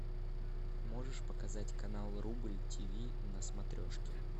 можешь показать канал рубль тиви на смотрешке